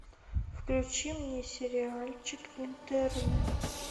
включи мне сериальчик интерны